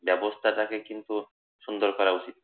ব্যবস্থাটাকে কিন্তু সুন্দর করা উচিত